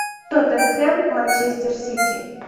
тоттенхэм манчестер сити